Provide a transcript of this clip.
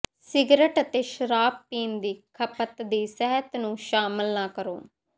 cigarette ਅਤੇ ਸ਼ਰਾਬ ਪੀਣ ਦੀ ਖਪਤ ਦੀ ਸਿਹਤ ਨੂੰ ਸ਼ਾਮਿਲ ਨਾ ਕਰੋ